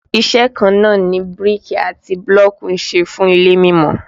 Iṣẹ́ kan náà ni bíríkì àti bílọ̀kì ń ṣe fún ilé mímọ